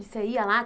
E você ia lá?